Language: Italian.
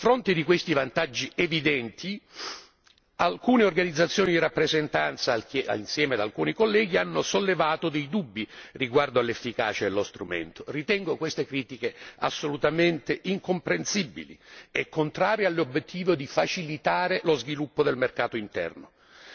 A fronte di questi vantaggi evidenti alcune organizzazioni di rappresentanza, insieme ad alcuni colleghi, hanno sollevato dei dubbi riguardo all'efficacia dello strumento. Ritengo queste critiche assolutamente incomprensibili e contrarie all'obiettivo di facilitare lo sviluppo del mercato interno.